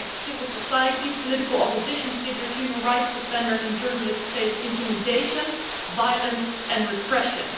In fact civil society, political opposition figures, human rights defenders and journalists face intimidation, violence and repression.